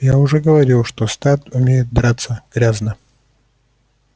я уже говорил что стат умеет драться грязно